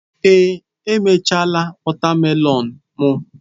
Ee, emechaala wotamelon mu.